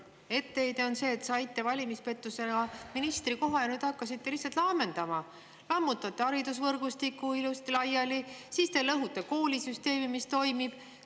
Etteheide on see, et saite valimispettusega ministrikoha ja nüüd hakkasite lihtsalt laamendama: lammutate haridusvõrgustiku ilusti laiali, siis lõhute koolisüsteemi, mis toimib.